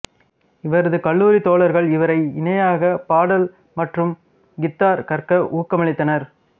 இவரது கல்லூரித் தோழர்கள் இவரை இணையாக பாடல் மற்றும் கித்தார் கற்க ஊக்கமளித்தனர்